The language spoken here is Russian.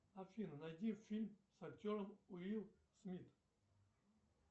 афина найди фильм с актером уилл смит